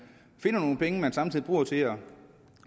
finder nogle penge man samtidig bruger til at